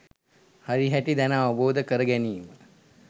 හරිහැටි දැන අවබෝධ කර ගැනීම